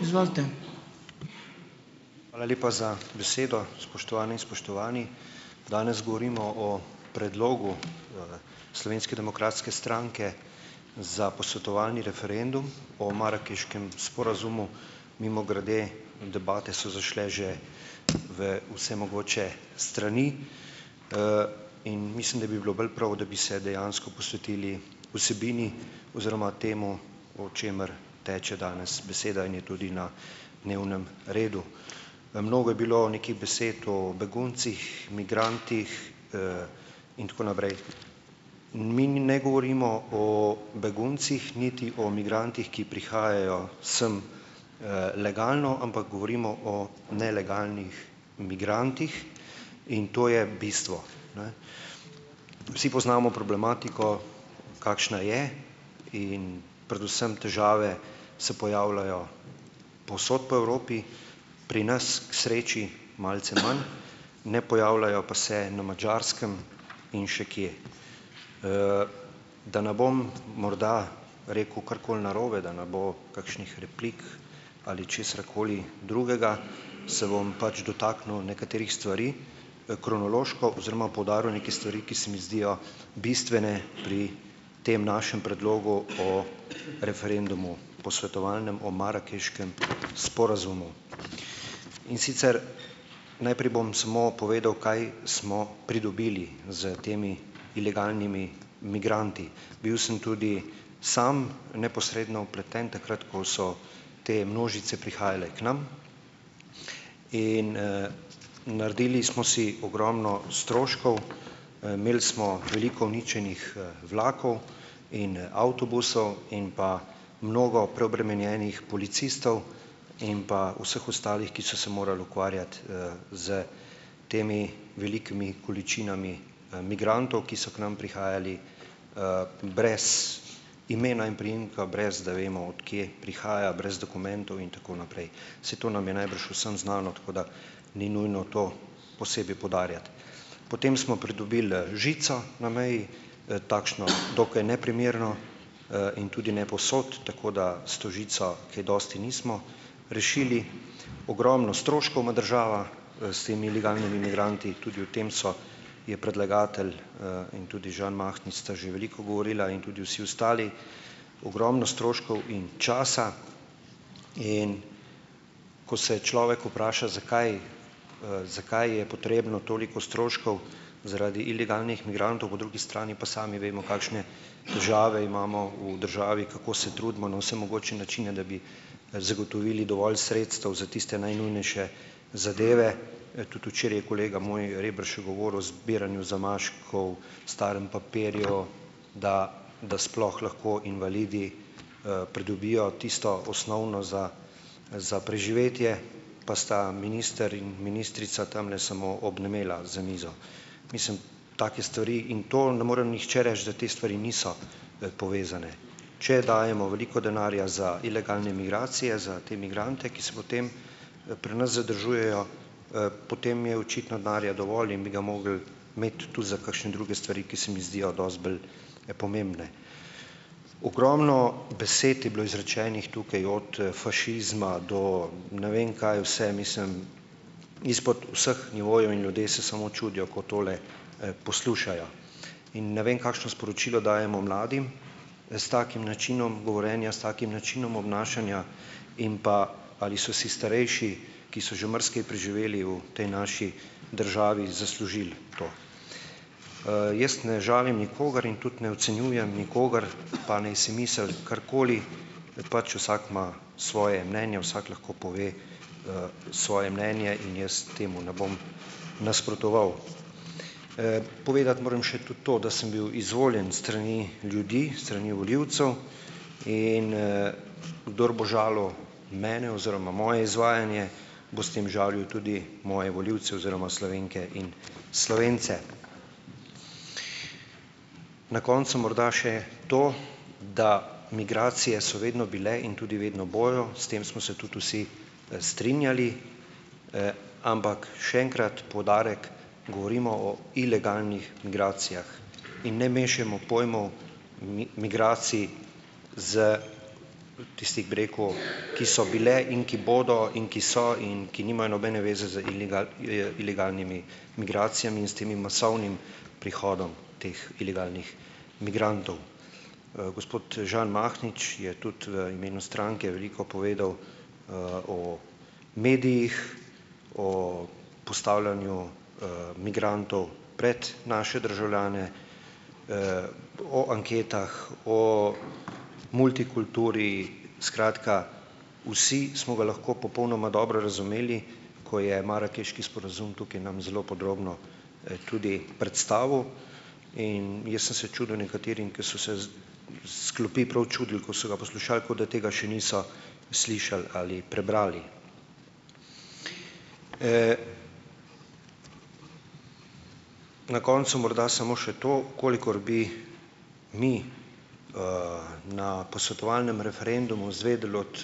Hvala lepa za besedo. Spoštovane in spoštovani. Danes govorimo o predlogu, Slovenske demokratske stranke za posvetovalni referendum o marakeškem sporazumu. Mimogrede, debate so zašle že v vse mogoče strani, in mislim, da bi bilo bolj prav, da bi se dejansko posvetili vsebini oziroma temu, o čemer teče danes beseda in je tudi na dnevnem redu. Mnogo je bilo nekih besed o beguncih, migrantih, in tako naprej, mi ne govorimo o beguncih, niti o migrantih, ki prihajajo sem, legalno, ampak govorimo o nelegalnih migrantih, in to je bistvo, ne. Vsi poznamo problematiko, kakšna je, in predvsem težave se pojavljajo povsod po Evropi, pri nas, k sreči, malce manj, ne pojavljajo pa se na Madžarskem in še kje. Da ne bom morda rekel karkoli narobe, da ne bo kakšnih replik ali česarkoli drugega, se bom pač dotaknil nekaterih stvari, kronološko, oziroma poudaril neke stvari, ki se mi zdijo bistvene pri tem našem predlogu o referendumu, posvetovalnem, o marakeškem sporazumu. In sicer najprej bom samo povedal, kaj smo pridobili s temi ilegalnimi migranti. Bil sem tudi sam neposredno vpleten, takrat ko so te množice prihajale k nam in, naredili smo si ogromno stroškov, imeli smo veliko uničenih, vlakov in, avtobusov in pa mnogo preobremenjenih policistov in pa vseh ostalih, ki so se morali ukvarjati, s temi velikimi količinami, migrantov, ki so k nam prihajali, brez imena in priimka, brez da vemo, od kje prihaja, brez dokumentov in tako naprej. Saj to nam je najbrž že vsem znano, tako da ni nujno to posebej poudarjati. Potem smo pridobili, žico na meji, takšno, dokaj neprimerno, in tudi ne povsod, tako da s to žico kaj dosti nismo rešili. Ogromno stroškov ima država s temi ilegalnimi migranti. Tudi o tem so, je predlagatelj, in tudi Žan Mahnič, sta že veliko govorila in tudi vsi ostali, ogromno stroškov in časa, in ko se človek vpraša, zakaj, zakaj je potrebno toliko stroškov zaradi ilegalnih migrantov? Po drugi strani pa sami vemo, kakšne težave imamo v državi, kako se trudimo na vse mogoče načine, da bi, zagotovili dovolj sredstev za tiste najnujnejše zadeve. Tudi včeraj je kolega moj, Rebršek, govoril o zbiranju zamaškov, starem papirju, da da sploh lahko invalidi, pridobijo tisto osnovno za za preživetje, pa sta minister in ministrica tamle samo obnemela za mizo. Mislim, take stvari in to ne more nihče reči, da te stvari niso, povezane. Če dajemo veliko denarja za ilegalne migracije, za te migrante, ki se potem, pri nas zadržujejo, potem je očitno denarja dovolj in bi ga mogli imeti tudi za kakšne druge stvari, ki se mi zdijo dosti bolj pomembne. Ogromno besed je bilo izrečenih tukaj, od fašizma do ne vem kaj vse, mislim, izpod vseh nivojev in ljudje se samo čudijo, ko tole, poslušajo. In ne vem kakšno sporočilo dajemo mladim s takim načinom govorjenja, s takim način obnašanja in pa, ali so si starejši, ki so že marsikaj preživeli v tej naši državi, zaslužili to. Jaz ne žalim nikogar in tudi ne ocenjujem nikogar, pa naj si misli karkoli, pač vsak ima svoje mnenje, vsak lahko pove, svoje mnenje in jaz temu ne bom nasprotoval. Povedati moram še tudi to, da sem bil izvoljen s strani ljudi, s strani volivcev, in, kdor bo žalil mene oziroma moje izvajanje, bo s tem žalil tudi moje volivce oziroma Slovenke in Slovence. Na koncu morda še to, da migracije so vedno bile in tudi vedno bojo. S tem smo se tudi vsi, strinjali. Ampak še enkrat poudarek, govorimo o ilegalnih migracijah in ne mešajmo pojmov migracij s tistih, bi rekel, ki so bile in ki bodo in ki so in ki nimajo nobene zveze z ilegalnimi migracijami in s tem masovnim prihodom teh ilegalnih migrantov. Gospod Žan Mahnič je tudi v imenu stranke veliko povedal, o medijih, o postavljanju, migrantov pred naše državljane, o anketah o multikulturi, skratka, vsi smo ga lahko popolnoma dobro razumeli, ko je marakeški sporazum tukaj nam zelo podrobno, tudi predstavil. In jaz sem se čudil nekaterim, ki so se s s klopi prav čudili, ko so ga poslušali, kot da tega še niso slišali ali prebrali. Na koncu morda samo še to. V kolikor bi mi, na posvetovalnem referendumu izvedeli od,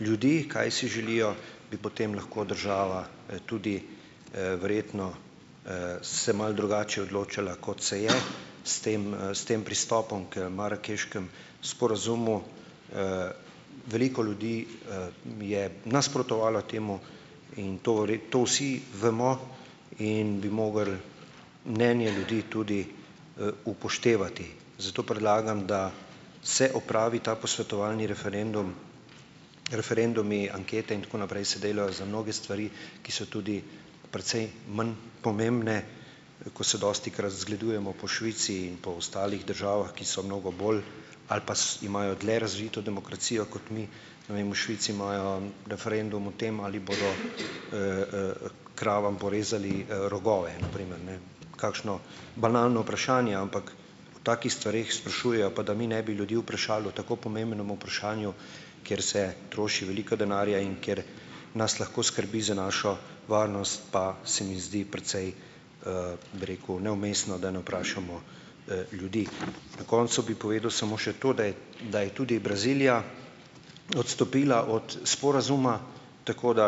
ljudi, kaj si želijo, bi potem lahko država, tudi, verjetno, se malo drugače odločala, kot se je, s tem, s tem pristopom k marakeškemu sporazumu. Veliko ljudi, je nasprotovalo temu in to to vsi bomo in bi mogli mnenje ljudi tudi, upoštevati. Zato predlagam, da se opravi ta posvetovalni referendum, referendumi, ankete in tako naprej se delajo za mnoge stvari, ki so tudi precej manj pomembne, ko se dostikrat zgledujemo po Švici in po ostalih državah, ki so mnogo bolj ali pa imajo dlje razvito demokracijo kot mi. Ne vem v Švici imajo referendum o tem, ali bodo, kravam porezali, rogove, na primer, ne. Kakšno banalno vprašanje, ampak o takih stvareh sprašujejo, pa da ne mi bi ljudi vprašali o tako pomembnem vprašanju, kjer se troši veliko denarja in kjer nas lahko skrbi za našo varnost, pa se mi zdi precej, bi rekel, neumestno, da ne vprašamo, ljudi. Na koncu bi povedal samo še to, da je da je tudi Brazilija odstopila od sporazuma, tako da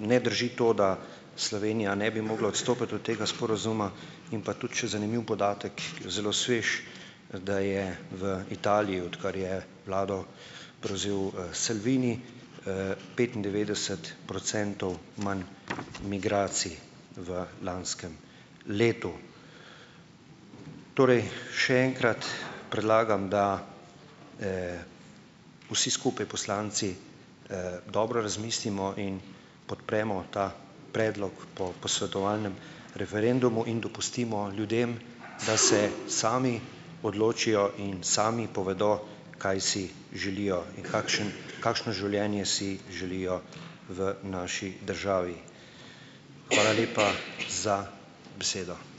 ne drži to, da Slovenija ne bi mogla odstopiti od tega sporazuma. In pa tudi še zanimiv podatek, zelo svež, da je v Italiji, odkar je vlado prevzel, Salvini, petindevetdeset procentov manj migracij v lanskem letu. Torej še enkrat predlagam, da, vsi skupaj poslanci, dobro razmislimo in podpremo ta predlog po posvetovalnem referendumu in dopustimo ljudem, da se sami odločijo in sami povedo, kaj si želijo in kakšen kakšno življenje si želijo v naši državi. Hvala lepa za besedo.